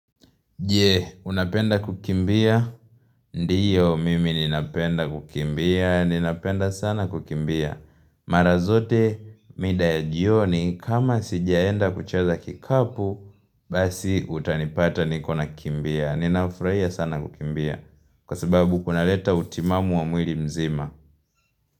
Je, unapenda kukimbia? Ndiyo, mimi ninapenda kukimbia. Ninapenda sana kukimbia. Mara zote mida ya jioni, kama sijaenda kucheza kikapu, basi utanipata niko nakimbia. Ninafurahia sana kukimbia. Kwa sababu kunaleta utimamu wa mwili mzima.